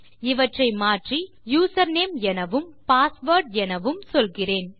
இவற்றை மாற்றி யூசர்நேம் எனவும் பாஸ்வேர்ட் எனவும் சொல்கிறேன்